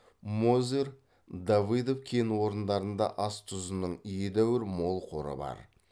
мозырь давыдов кен орындарында ас тұзының едәуір мол қоры бар